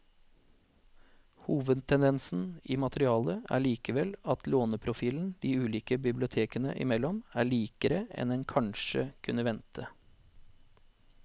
Hovedtendensen i materialet er likevel at låneprofilen de ulike bibliotekene imellom er likere enn en kanskje kunne vente.